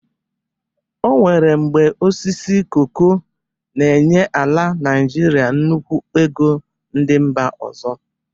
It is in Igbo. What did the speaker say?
O nwere mgbe osisi koko n'enye ala Nịjịrịa nnukwu ego ndị mba ọzọ